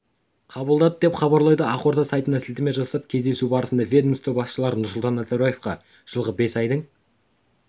қабылдады деп хабарлайды ақорда сайтына сілтеме жасап кездесу барысында ведомство басшылары нұрсұлтан назарбаевқа жылғыбес айдың